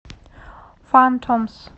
фантомс